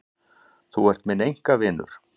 Þú ert minn einkavinur.